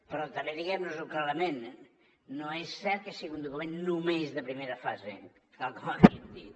però també diguem nos ho clarament no és cert que sigui un document només de primera fase tal com havíem dit